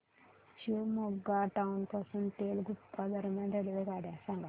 Shivamogga town पासून तलगुप्पा दरम्यान रेल्वेगाड्या सांगा